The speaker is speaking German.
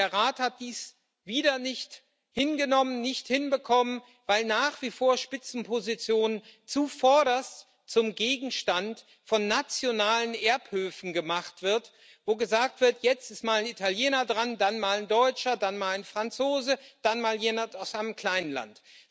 Und der Rat hat dies wieder nicht hingenommen, nicht hinbekommen, weil nach wie vor Spitzenpositionen zuvorderst zum Gegenstand von nationalen Erbhöfen gemacht werden, wo gesagt wird Jetzt ist mal ein Italiener dran, dann mal ein Deutscher, dann mal ein Franzose, dann mal jemand aus einem kleinen Land.